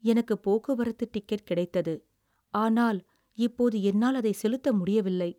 எனக்கு போக்குவரத்து டிக்கெட் கிடைத்தது, ஆனால், இப்போது என்னால் அதை செலுத்த முடியவில்லை.